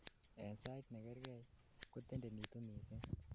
en sait negergei, kotendenitu missing